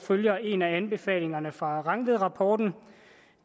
følger en af anbefalingerne fra rangvidrapporten